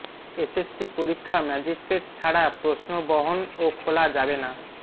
SSC পরীক্ষা magistrate ছাড়া প্রশ্ন বহন ও খোলা যাবে না